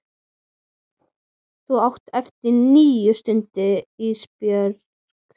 Þú átt ennþá eftir níu stundir Ísbjörg.